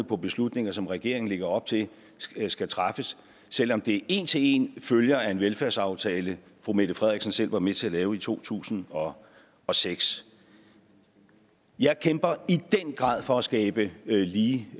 på beslutninger som regeringen lægger op til skal træffes selv om det en til en følger af en velfærdsaftale fru mette frederiksen selv var med til at lave i to tusind og og seks jeg kæmper i den grad for at skabe lige